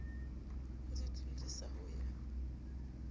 o di tlodisa ho ya